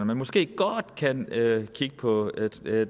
man måske godt kan kigge på